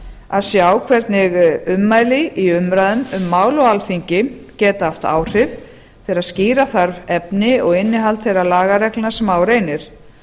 að sjá hvernig ummæli í umræðum um mál á alþingi geta haft áhrif þegar skýra þarf efni og innihald þeirra lagareglna sem á reynir